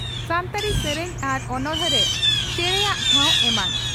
ᱥᱟᱱᱛᱟᱲᱤ ᱥᱮᱨᱮᱧ ᱟᱨ ᱚᱱᱚᱬᱦᱮ ᱨᱮ ᱪᱮᱬᱮᱭᱟᱜ ᱴᱷᱟᱣ ᱮᱢᱟᱱ ᱾